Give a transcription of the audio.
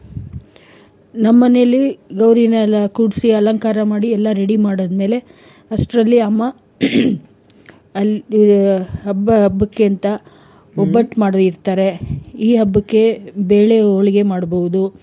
ನಮ್ ಮನೇಲಿ ಗೌರಿನೆಲ್ಲ ಕೂರ್ಸಿ ಅಲಂಕಾರ ಮಾಡಿ ಎಲ್ಲಾ ready ಮಾಡಿದ್ ಮೇಲೆ ಅಸ್ಟ್ರಲ್ಲಿ ಅಮ್ಮ ಹಬ್ಬ ಹಬ್ಬಕೆಂತ ಒಬ್ಬಟ್ ಮಾಡಿ ಇರ್ತಾರೆ. ಈ ಹಬ್ಬಕೆ ಬೇಳೆ ಹೋಲಿಗೆ ಮಾಡ್ಬಹುದು.